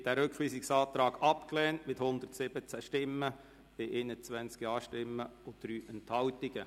Sie haben diesen Rückweisungsantrag mit 117 Nein-Stimmen abgelehnt, bei 21 JaStimmen und 3 Enthaltungen.